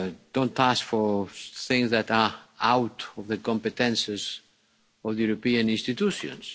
Don't ask for things that are out of the competences of the European institutions.